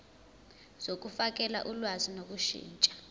zokufakela ulwazi ngokushintsha